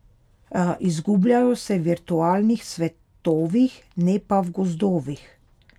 Izgubljajo se v virtualnih svetovih, ne pa v gozdovih.